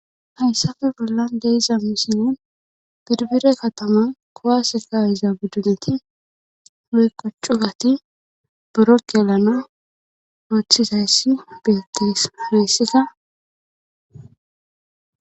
Hayssape bollan deyiza misilen birbire katama kowase ka'izaa beduneti woyko cugati borokyelana ooththizayssi bettes. hayisat